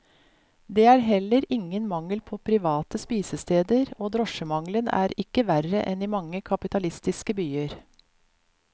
Det er heller ingen mangel på private spisesteder, og drosjemangelen er ikke verre enn i mange kapitalistiske byer.